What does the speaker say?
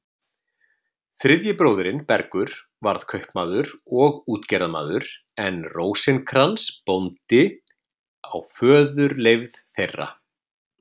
Þriðji bróðirinn, Bergur, varð kaupmaður og útgerðarmaður en Rósinkrans bóndi á föðurleifð þeirra.